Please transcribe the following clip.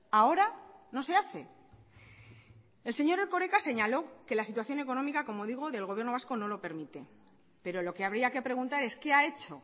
ahora no se hace el señor erkoreka señaló que la situación económica como digo del gobierno vasco no lo permite pero lo que habría que preguntar es qué ha hecho